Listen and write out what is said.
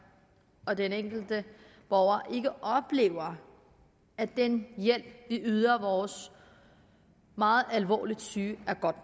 og den enkelte borger ikke oplever at den hjælp vi yder vores meget alvorligt syge er god